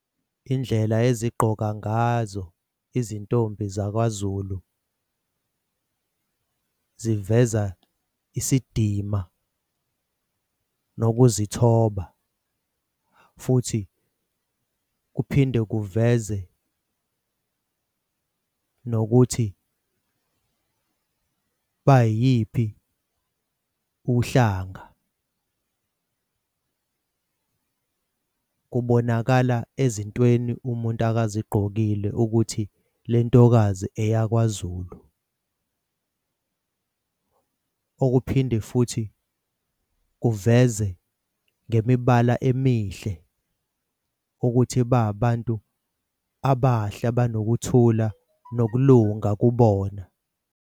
Indlela ezigqoka ngazo izintombi zakwaZulu ziveza isidima nokuzithoba. Futhi kuphinde kuveze nokuthi bayiyiphi uhlanga kubonakala ezintweni umuntu akazigqokile ukuthi lentokazi eyakwaZulu. Okuphinde futhi kuveze ngemibala emihle ukuthi babantu abahle abanokuthula nokulunga kubona.